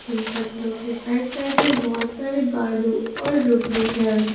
इन पत्थरों के side side में बहोत सारे बालू और रोकड़ी है।